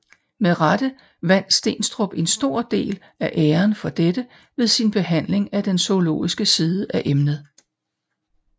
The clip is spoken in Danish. Med rette vandt Steenstrup en stor del af æren for dette ved sin behandling af den zoologiske side af emnet